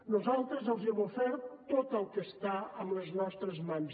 nosaltres els hem ofert tot el que està en les nostres mans